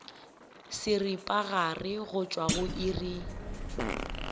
seripagare go tšwa go iri